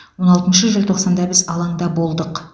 он алтыншы желтоқсанда біз алаңда болдық